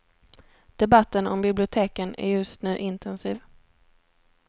Debatten om biblioteken är just nu intensiv.